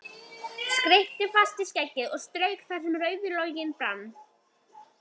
Skyrpti fast og skeggið strauk þar sem rauður loginn brann.